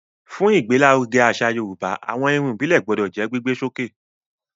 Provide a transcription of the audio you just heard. Fún ìgbé l'áruge àṣà yorùbá, àwọn Irun ìbílè gbodò jó gbígbé sókè